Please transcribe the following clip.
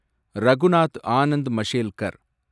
Raghunath Anand Mashelkar